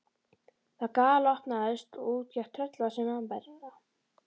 Það galopnaðist og út gekk tröllvaxin mannvera.